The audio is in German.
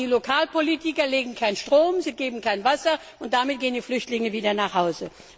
Aber die Lokalpolitiker legen keinen Strom, sie geben kein Wasser, und damit gehen die Flüchtlinge wieder nach Hause.